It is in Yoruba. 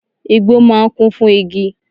Igbó máà ń kún fún igi